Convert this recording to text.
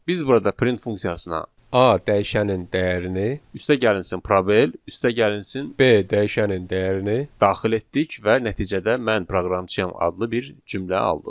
Biz burada print funksiyasına A dəyişənin dəyərini üstəgəlsin probel üstəgəlsin B dəyişənin dəyərini daxil etdik və nəticədə mən proqramçıyam adlı bir cümlə aldıq.